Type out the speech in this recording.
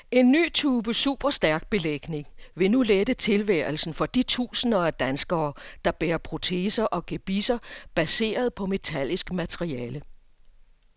En ny type superstærk belægning vil nu lette tilværelsen for de tusinder af danskere, der bærer proteser og gebisser baseret på metallisk materiale.